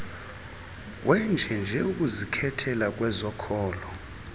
wenjenje ukuzikhetheja kwezokhojo